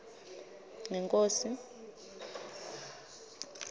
ngenkhosi